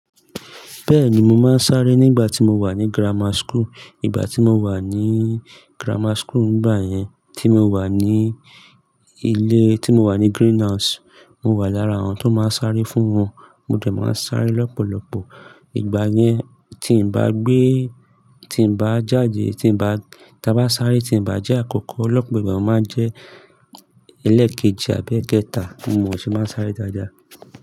Bẹ́ẹ̀ni mo máa ń sáré nígbà tí mo wà ní grammar school, ìgbà tí mo wà ní grammar school, ìgbà yẹn tí mo wà ní ilé tí mo wà ní Green House, mo wà lára àwọn tó máa ń sáré fún wọn. Mo de máa ń sáré lọ́pọ̀lọ́pọ̀. Ìgbà yẹn tí n bá gbé, tí n bá jáde, tí n bá, tí a bá sáré tí n bá jẹ́ àkọ́kọ́, lọ́pọ̀ ìgbà mo máa ń jẹ́ ẹlẹ́ẹ̀kejì àbí ẹketa, mo sì máa ń sáré dáadáa.